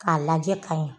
K'a lajɛ ka ɲa